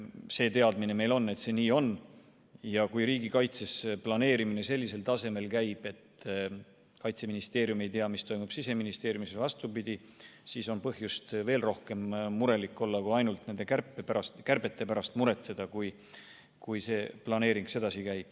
Meil on teadmine, et see nii on, ja kui riigikaitses planeerimine sellisel tasemel käib, et Kaitseministeerium ei tea, mis toimub Siseministeeriumis ja vastupidi, siis on põhjust veel rohkem murelik olla kui ainult nende kärbete pärast muretseda.